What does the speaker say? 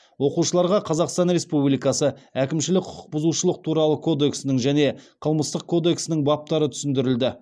оқушыларға қазақстан республикасы әкімшілік құқық бұзушылық туралы кодексінің және қылмыстық кодексінің баптары түсіндірілді